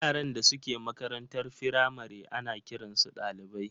yaran da suke makarantar firamare ana kiransu ɗalibai.